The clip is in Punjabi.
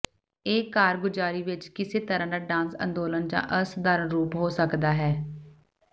ਇਹ ਕਾਰਗੁਜ਼ਾਰੀ ਵਿੱਚ ਕਿਸੇ ਤਰ੍ਹਾਂ ਦਾ ਡਾਂਸ ਅੰਦੋਲਨ ਜਾਂ ਅਸਾਧਾਰਨ ਰੂਪ ਹੋ ਸਕਦਾ ਹੈ